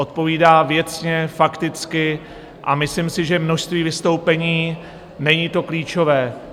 Odpovídá věcně, fakticky a myslím si, že množství vystoupení není to klíčové.